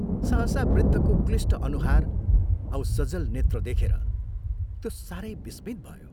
सहसा वृद्धको क्लिष्ट अनुहार औ सजल नेत्र देखेर त्यो सारै विस्मित भयो।